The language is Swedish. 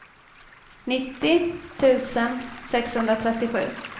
nittio tusen sexhundratrettiosju